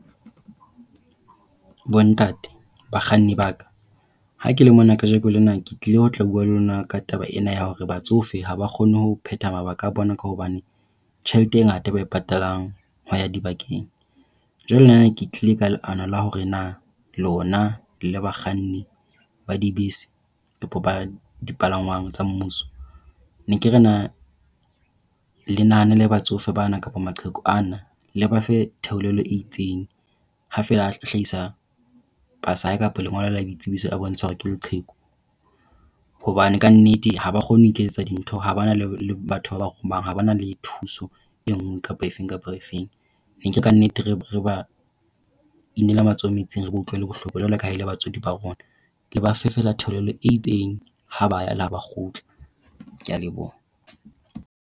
Bontate, bakganni ba ka. Ha ke le mona kajeno lena ke tlile ho tla bua le lona ka taba ena ya hore batsofe ha ba kgone ho phetha mabaka a bona ka hobane tjhelete e ngata e ba e patalang ho ya dibakeng. Jwale nna ne ke tlile ka leano la hore na lona le bakganni ba dibese, le dipalangwang tsa mmuso. Ke ne ke re na le nahanele batsofe bana kapa maqheku a na, le ba fe theolelo e itseng, ha feela a hlahisa pasa ya hae kapa lengolo la boitsebiso e bontshang hore ke leqheku hobane ka nnete ha ba kgone ho iketsetsa dintho ha ba na le batho ba ba romang. Ha ba na le thuso e nngwe kapa e fe kapa e fe. Ne ke re ka nnete, re ba inela matsoho metsing, re ba utlwele bohloko jwalo ka ha e le batswadi ba rona. Le ba fe feela theolelo e itseng ha ba ya le ha ba kgutla. Ke a leboha.